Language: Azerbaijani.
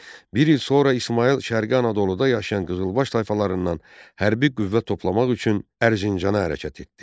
Bir il sonra İsmayıl Şərqi Anadoluda yaşayan qızılbaş tayfalarından hərbi qüvvə toplamaq üçün Ərzincana hərəkət etdi.